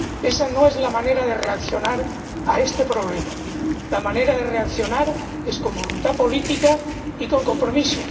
Esa no es la manera de reaccionar ante este problema la manera de reaccionar es con voluntad política y con compromiso.